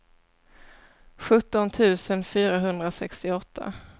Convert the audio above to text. sjutton tusen fyrahundrasextioåtta